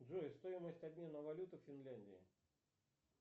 джой стоимость обмена валюты в финляндии